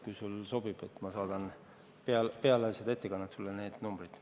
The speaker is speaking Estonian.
Kui sulle sobib, siis saadan sulle peale ettekannet need numbrid.